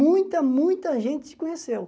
Muita, muita gente te conheceu.